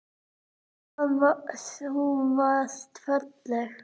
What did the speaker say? Hvað þú varst falleg.